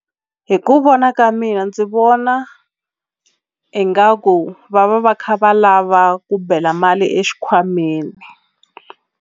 Hi ku vona ka mina ndzi vona ingaku va va va kha va lava ku bela mali exikhwameni.